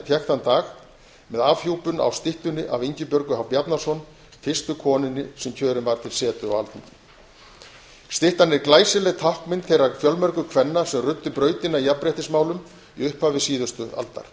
þann dag með afhjúpun á styttunni af ingibjörgu h bjarnason fyrstu konunni sem kjörin var til setu á alþingi styttan er glæsileg táknmynd þeirra fjölmörgu kvenna sem ruddu brautina í jafnréttismálum í upphafi síðustu aldar